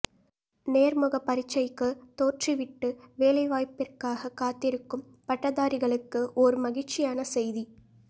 நேர்முகப் பரீட்சைக்கு தோற்றி விட்டு வேலைவாய்ப்பிற்காக காத்திருக்கும் பட்டதாரிகளுக்கு ஓர் மகிழ்ச்சியான செய்தி